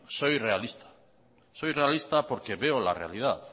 soy realista porque veo la realidad